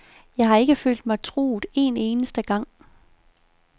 Jeg har ikke følt mig truet en eneste gang.